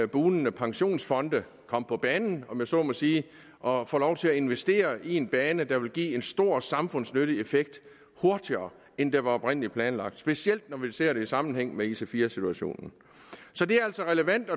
bugnende pensionsfonde komme på banen om jeg så må sige og få lov til at investere i en bane der hurtigere vil give en stor samfundsnyttig effekt end det oprindelig var planlagt specielt når vi ser det i sammenhæng med ic4 situationen så det er altså relevant